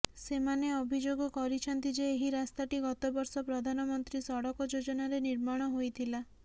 ସେମାନେ ଅଭିଯୋଗ କରିଛନ୍ତି ଯେ ଏହି ରାସ୍ତାଟି ଗତ ବର୍ଷ ପ୍ରଧାନମନ୍ତ୍ରୀ ସଡ଼କ ଯୋଜନାରେ ନିର୍ମାଣ ହୋଇଥିଲା